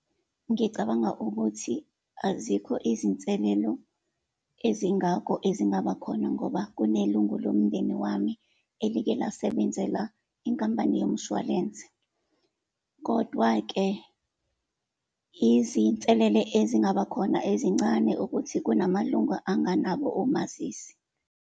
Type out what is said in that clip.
Ngicabanga ukuthi azikho izinselelo ezingako ezingaba khona ngoba kunelungu lomndeni wami elike lasebenzela inkampani womshwalense. Kodwa-ke izinselele ezingaba khona ezincane ukuthi kunamalungu anganabo omazisi.